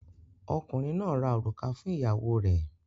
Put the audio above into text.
Ọkùnrin náà ra òrùka fún ìyàwó rẹ̀.